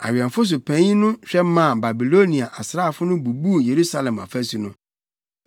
Awɛmfo so panyin no hwɛ maa Babilonia asraafo no bubuu Yerusalem afasu no.